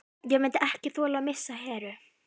Ég myndi ekki þola að missa Heru.